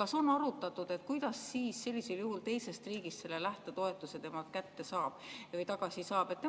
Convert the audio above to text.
kas on arutatud, kuidas sellest teisest riigist selle lähtetoetuse temalt kätte või tagasi saab?